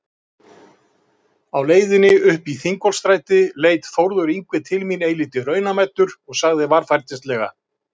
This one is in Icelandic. Á leiðinni uppí Þingholtsstræti leit Þórður Yngvi til mín eilítið raunamæddur og sagði varfærnislega